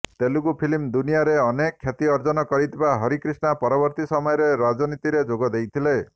Telugu film ଦୁନିଆରେ ଅନେକ ଖ୍ୟାତି ଅର୍ଜନ କରିଥିବା ହରିକ୍ରିଷ୍ଣା ପରବର୍ତ୍ତୀ ସମୟରେ ରାଜନୀତିରେ ଯୋଗ ଦେଇଥିଲେ